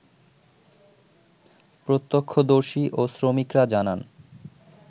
প্রত্যক্ষদর্শী ও শ্রমিকরা জানান